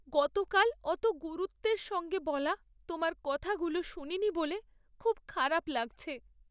গতকাল অত গুরুত্বের সঙ্গে বলা তোমার কথাগুলো শুনিনি বলে খুব খারাপ লাগছে।